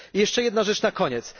Jeszcze jedna rzecz na koniec.